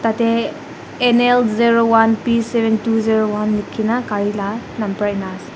Tate N_L zero one P seven two zero one lekhi na gaari la number ena ase.